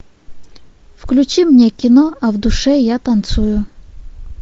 включи мне кино а в душе я танцую